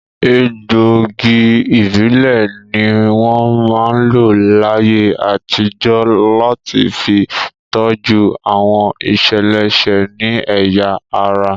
Egbòogi ìbílẹ̀ ní wọ́n máa ń lò láyé àtijọ́ láti fi tọ́jú àwọn ìṣeléṣe ní ẹ̀yà ara